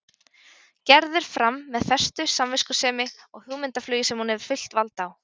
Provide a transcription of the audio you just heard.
Gerður fram með festu, samviskusemi og hugmyndaflugi sem hún hefur fullt vald á.